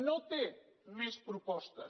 no té més propostes